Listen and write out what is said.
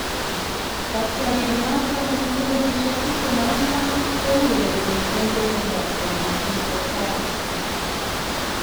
kotioriendenoto netinye kenyisiek tiptem ak ang'wan kourereni eng besendo kobun Crystal Palace